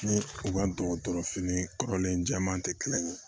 Ni u ka dɔgɔtɔrɔfini kɔrɔlen jɛman tɛ kelen ye